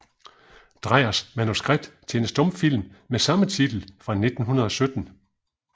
Dreyers manuskript til en stumfilm med samme titel fra 1917